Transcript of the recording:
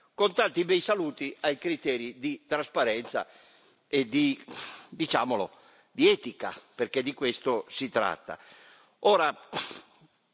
Selmayr Segretario generale, con tanti bei saluti ai criteri di trasparenza e, diciamolo, di etica, perché di questo si tratta.